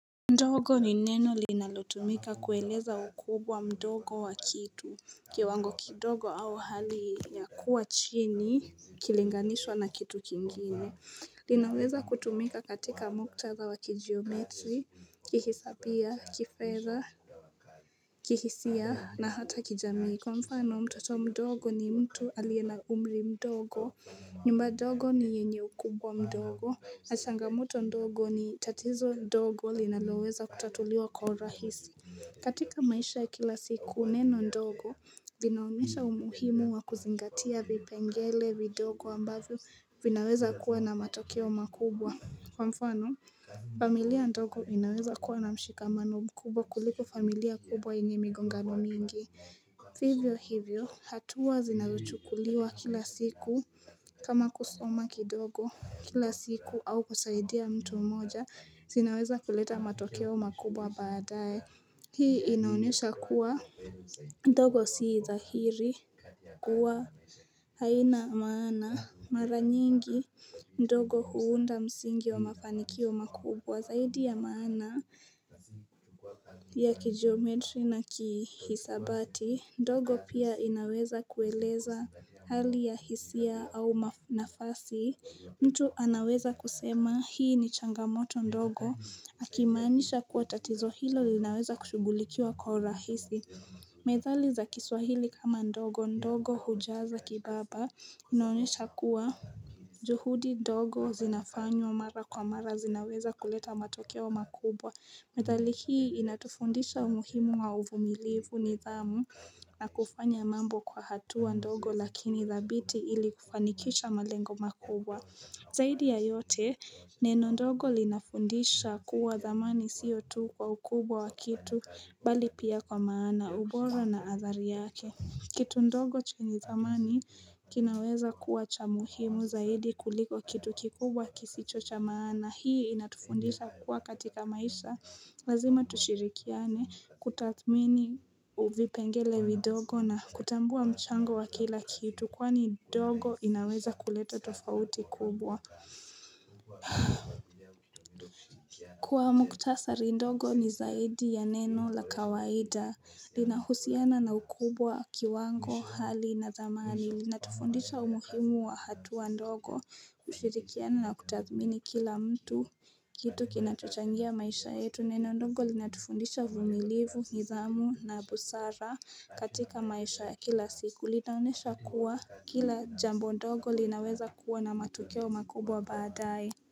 Ndogo ni neno linalotumika kueleza ukubwa mdogo wa kitu. Kiwango kidogo au hali ya kuwa chini ikilinganishwa na kitu kingine. Linaweza kutumika katika muktadha wa kijiometri, kihisapia, kifedha, kihisia na hata kijamii. Kwa mfano mtoto mdogo ni mtu aliye na umri mdogo. Nyumba dogo ni yenye ukubwa mdogo. Na changamoto ndogo ni tatizo ndogo linaloweza kutatuliwa kwa urahisi. Katika maisha ya kila siku neno ndogo vinaonyesha umuhimu wa kuzingatia vipengele vidogo ambavyo vinaweza kuwa na matokeo makubwa. Kwa mfano familia ndogo inaweza kuwa na mshikamano mkubwa kuliko familia kubwa yenye migongano mingi. Vivyo hivyo hatua zinazochukuliwa kila siku kama kusoma kidogo kila siku au kusaidia mtu mmoja zinaweza kuleta matokeo makubwa baadaye. Hii inaonyesha kuwa ndogo sii dhahiri kuwa haina maana. Mara nyingi ndogo huunda msingi wa mafanikio makubwa. Zaidi ya maana ya kijometri na kihisabati ndogo pia inaweza kueleza hali ya hisia au nafasi mtu anaweza kusema hii ni changamoto ndogo. Akimaanisha kuwa tatizo hilo linaweza kushugulikiwa kwa urahisi Methali za kiswahili kama ndogo ndogo hujaza kibaba inaonyesha kuwa juhudi ndogo zinafanywa mara kwa mara zinaweza kuleta matokeo makubwa. Methali hii inatufundisha umuhimu wa uvumilivu, nidhamu na kufanya mambo kwa hatua ndogo lakini dhabiti ili kufanikisha malengo makubwa. Zaidi ya yote neno ndogo linafundisha kuwa dhamani siyo tu kwa ukubwa wa kitu bali pia kwa maana, ubora, na athari yake. Kitu ndogo chenye dhamani kinaweza kuwa cha muhimu zaidi kuliko kitu kikubwa kisicho cha maana. Hii inatufundisha kuwa katika maisha, lazima tushirikiane, kutathmini vipengele vidogo na kutambua mchango wa kila kitu, kwani dogo inaweza kuleta tofauti kubwa. Kwa muhtasari ndogo ni zaidi ya neno la kawaida. Linahusiana na ukubwa, kiwango, hali na dhamani. Linatufundisha umuhimu wa hatua ndogo ushirikiano na kutathmini kila mtu kitu kinachochangia maisha yetu. Neno ndogo linatufundisha uvumilivu, nidhamu na busara katika maisha ya kila siku. Linaonyesha kuwa kila jambo ndogo linaweza kuwa na matokeo makubwa baadaye.